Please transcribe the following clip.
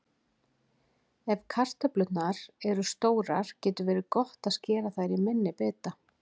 Ef kartöflurnar eru stórar getur verið gott að skera þær í minni bita.